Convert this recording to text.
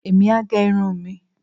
èmi á gẹ irun mi